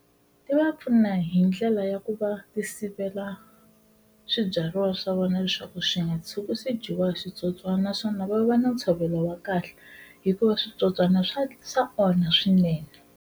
Ti va pfuna hi ndlela ya ku va ti sivela swibyariwa swa vona leswaku swi nga tshuki swi dyiwa hi switsotswani naswona va va na ntshovelo wa kahle hikuva switsotswana swa sa onha swinene.